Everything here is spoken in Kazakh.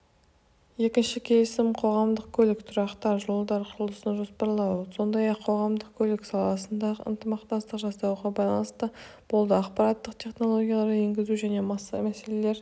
екінші келісім қоғамдық көлік тұрақтар жолдар құрылысын жоспарлау сондай-ақ қоғамдық көлік саласында ынтымақтастық жасасуға байланысты болды ақпараттық технологияларды енгізу және мәселелер